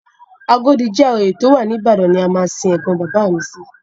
Agodi GRA tó wà ní Ìbàdàn ni a máa sin ẹ̀gbọn bàbá mi sí.